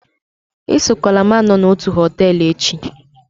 esokwala m na otu họtel echi!